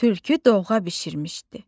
Tülkü dovğa bişirmişdi.